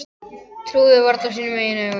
Trúði varla sínum eigin augum.